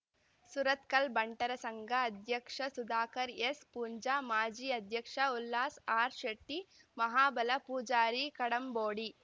ಸುರತ್ಕಲ್ ಬಂಟರ ಸಂಘ ಅಧ್ಯಕ್ಷ ಸುಧಾಕರ್ ಎಸ್ ಪೂಂಜಾ ಮಾಜಿ ಅಧ್ಯಕ್ಷ ಉಲ್ಲಾಸ್ ಆರ್ ಶೆಟ್ಟಿ ಮಹಾಬಲ ಪೂಜಾರಿ ಕಡಂಬೋಡಿ